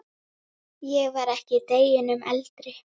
Ég var ekki deginum eldri.